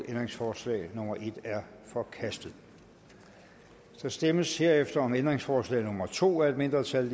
ændringsforslag nummer en er forkastet der stemmes herefter om ændringsforslag nummer to af et mindretal